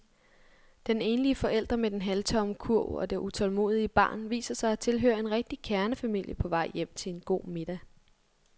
Den enlige forælder med den halvtomme kurv og det utålmodige barn viser sig at tilhøre en rigtig kernefamilie på vej hjem til en god middag.